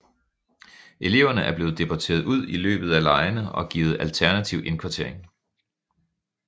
Eleverne er blevet deporteret ud i løbet af legene og givet alternativ indkvartering